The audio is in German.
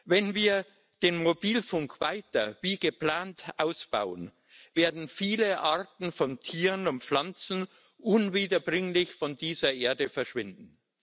Wenn wir den Mobilfunk weiter wie geplant ausbauen, werden viele Arten von Tieren und Pflanzen unwiederbringlich von dieser Erde verschwinden.